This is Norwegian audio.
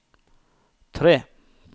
tre